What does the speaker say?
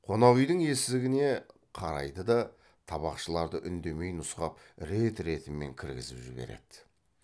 қонақүйдің есігіне қарайды да табақшыларды үндемей нұсқап рет ретімен кіргізіп жібереді